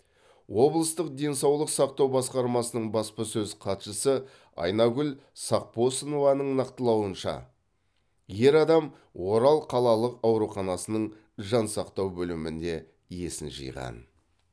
облыстық денсаулық сақтау басқармасының баспасөз хатшысы айнагүл сақпосынованың нақтылауынша ер адам орал қалалық ауруханасының жансақтау бөлімінде есін жиған